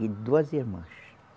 E duas irmãs.